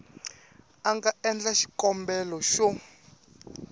a nga endla xikombelo xo